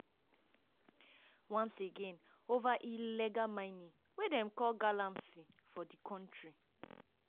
once again ova illegal mining wey dem call ‘galamsey’ for di kontri.